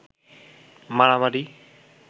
মারামারি